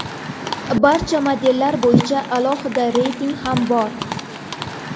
Barcha modellar bo‘yicha alohida reyting ham bor.